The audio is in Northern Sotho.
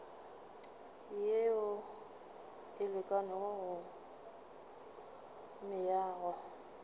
yeo e lekanego go meago